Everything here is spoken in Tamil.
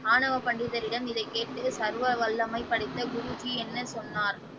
ஆணவ பண்டிதரிடம் இதை கேட்டு சர்வ வல்லமை படைத்த குருஜி என்ன சொன்னார்?